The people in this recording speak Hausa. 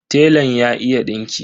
Telan ya iya dinki.